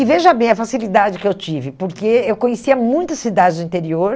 E veja bem a facilidade que eu tive, porque eu conhecia muitas cidades do interior,